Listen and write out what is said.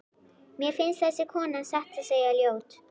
Mér finnst þessi kona satt að segja ljót.